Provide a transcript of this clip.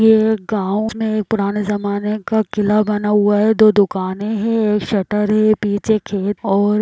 ये एक गाँव में पुराने जमाने का किला बना हुआ है दो दुकानें है एक शटर है पीछे खेत और--